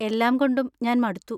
എല്ലാം കൊണ്ടും ഞാൻ മടുത്തു.